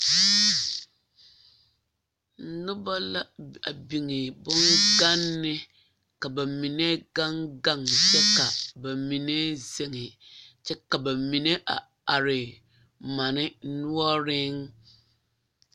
Noba la a biŋ boŋganni ka ba mine gaŋgaŋ kyɛ ka ba mine zeŋe kyɛ ka ba mine a are manne noɔreŋ.